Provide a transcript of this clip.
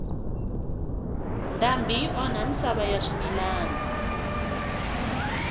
ndhambi yi onha misava ya swimilana